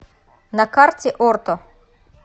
на карте орто